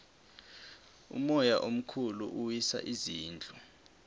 umoya omkhulu uwisa izindlu